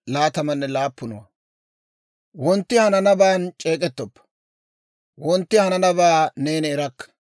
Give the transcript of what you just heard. Wontti hananabaan c'eek'ettoppa; wontti ahanabaa neeni erakka.